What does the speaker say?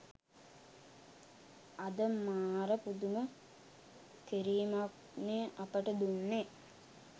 අද මාර පුදුම කිරිමක් නේ අපිට දුන්නේ